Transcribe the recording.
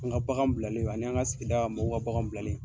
An ka bagan bilalen, an n'an ka sigi mɔgɔw ka bagan bilalen